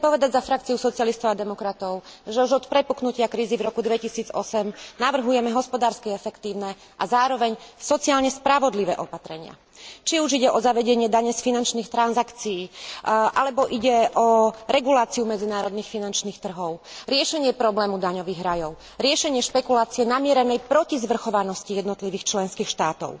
Za frakciu socialistov a demokratov chcem povedať, že už od prepuknutia krízy v roku 2008 navrhujeme hospodársky efektívne a zároveň sociálne spravodlivé opatrenia, či už ide o zavedenie dane z finančných transakcií, alebo ide o reguláciu medzinárodných finančných trhov, riešenie problému daňových rajov, riešenie špekulácie namierenej proti zvrchovanosti jednotlivých členských štátov.